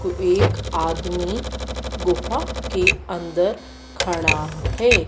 को एक आदमी गुफा के अंदर खड़ा है।